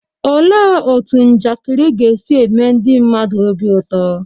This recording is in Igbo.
Olee otú njakịrị ga-esi eme ndị mmadụ obi ụtọ?